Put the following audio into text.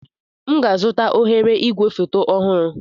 M ga-azụta oghere igwefoto ọhụrụ.